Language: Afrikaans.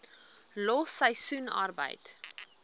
los seisoensarbeid